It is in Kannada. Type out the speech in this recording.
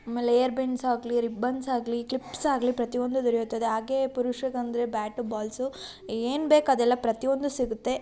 ಆಮೇಲೆ ಏರ್ ಬೆಂಡ್ಸ್ ಆಗಲಿ ರಿಬ್ಬನ್ಸ್ ಆಗ್ಲಿ ಕ್ಲಿಪ್ಸ್ ಆಗ್ಲಿ ಪ್ರತಿಯೊಂದು ದೊರೆಯುತ್ತದೆ ಹಾಗೆ ಪುರುಷರಿಗೆ ಅಂದ್ರೆ ಬ್ಯಾಟ್ ಸು ಏನ್ ಬೇಕೋ ಅದೆಲ್ಲ ಪ್ರತಿಯೊಂದು ಸಿಗುತ್ತೆ